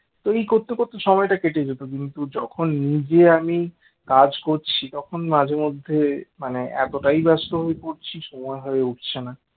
তো এই করতে করতে সময়টা কেটে যেত কিন্তু যখন নিজে আমি কাজ করছি তখন মাঝেমধ্যে মানে এতটাই ব্যস্ত হয়ে পড়ছি সময় হয়ে উঠছে না